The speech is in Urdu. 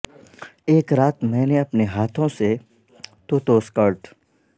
ایک رات میں نے اپنے ہاتھوں سے توتو سکرٹ